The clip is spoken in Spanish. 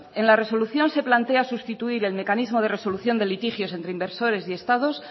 en la resolución se plantea sustituir el mecanismo de resolución de litigios entre inversores y estados